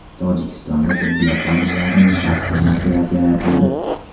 Tojikistonda tibbiyot xodimlarining kasbiy madhiyasi yaratildi.